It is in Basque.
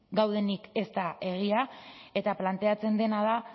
gaudenik ez da egia eta planteatzen dena da